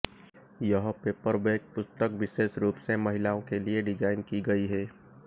यह पेपरबैक पुस्तक विशेष रूप से महिलाओं के लिए डिज़ाइन की गई है